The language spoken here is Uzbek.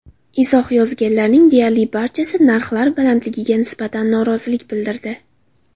Izoh yozganlarning deyarli barchasi narxlar balandligiga nisbatan norozilik bildirdi.